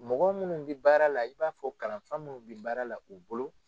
Mɔgɔ minnu bɛ baara la i b'a fɔ kalanfa minnu bɛ baara la u bolo